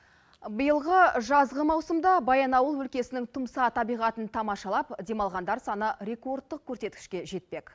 биылғы жазғы маусымда баянауыл өлкесінің тұмса табиғатын тамашалап демалғандар саны рекордтық көрсеткішке жетпек